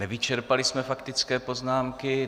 Nevyčerpali jsme faktické poznámky.